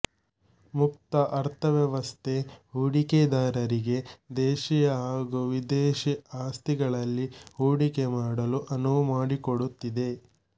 ಮುಕ್ತ ಅರ್ಥವ್ಯವಸ್ಥೆ ಹೂಡಿಕೆದಾರರಿಗೆ ದೇಶೀಯ ಹಾಗೂ ವಿದೇಶಿ ಆಸ್ತಿಗಳಲ್ಲಿ ಹೂಡಿಕೆ ಮಾಡಲು ಅನುವು ಮಾಡಿಕೊಡುತ್ತಿದೆ